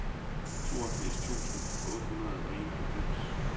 toogfirs tusind otte hundrede og enoghalvfems